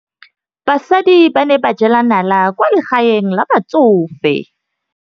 Basadi ba ne ba jela nala kwaa legaeng la batsofe.